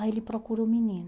Aí ele procura o menino.